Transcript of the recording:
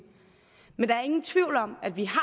men der er ingen tvivl om at vi har